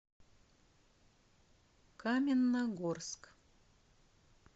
каменногорск